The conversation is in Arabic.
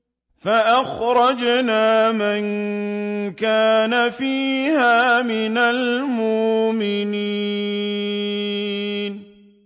فَأَخْرَجْنَا مَن كَانَ فِيهَا مِنَ الْمُؤْمِنِينَ